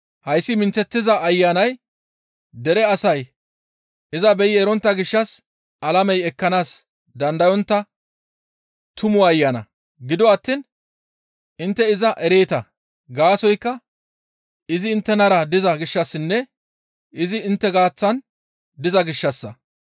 Hayssi minththeththiza Ayanay dere asay iza beyi erontta gishshas alamey ekkanaas dandayontta Tumu Ayana; gido attiin intte iza ereeta; gaasoykka izi inttenara diza gishshassinne izi intte gaaththan diza gishshassa.